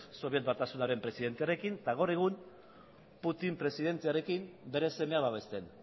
soviet batasunaren presidentearekin eta gaur egun putin presidentearekin bere semea babesten